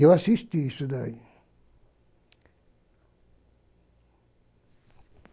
Eu assisti isso daí.